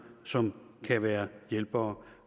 som kan være hjælpere